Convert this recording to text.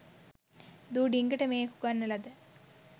දූ ඩිංගට මේක උගන්නලද